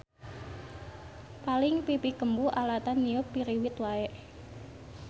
Paling pipi kembu alatan niup piriwit wae.